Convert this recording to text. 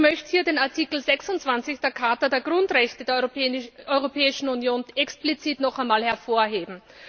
Ich möchte hier den Artikel 26 der Charta der Grundrechte der Europäischen Union explizit noch einmal hervorheben.